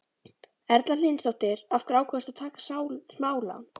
Erla Hlynsdóttir: Af hverju ákvaðstu að taka smálán?